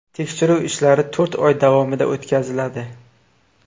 Tekshiruv ishlari to‘rt oy davomida o‘tkaziladi.